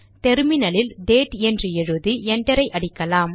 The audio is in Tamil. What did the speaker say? டெர்மினலில் டேட் என்று எழுதி என்டர் அடிக்கலாம்